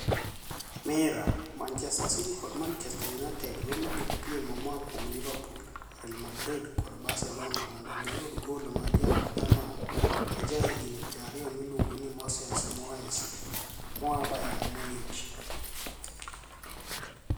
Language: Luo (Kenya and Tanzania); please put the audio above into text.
(Mirror) Manichester City kod Manichester Uniited romo gi piem moa kuom Liverpool, Real Madrid kod Barcelonia monido giyud gol ma ja Germaniy ma jahignii 20 miluonigo nii Moses Moes moa Bayerni Muniich.